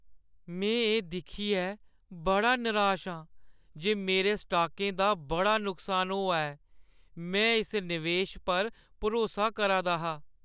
में एह् दिक्खियै बड़ा निराश आं जे मेरे स्टॉकें दा बड़ा नुकसान होआ ऐ। में इस नवेश पर भरोसा करा दा हा।